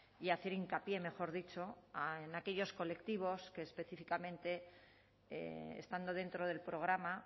y hacer hincapié mejor dicho en aquellos colectivos que específicamente estando dentro del programa